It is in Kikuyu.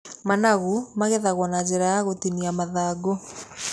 Managu magethagwo na njĩra ya gũtinia mathangũ .